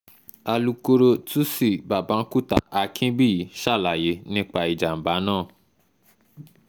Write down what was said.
alukoro tuci babakunta akinbíyì ṣàlàyé nípa ìjàm̀bá náà